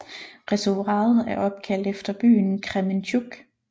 Reservoiret er opkaldt efter byen Krementjuk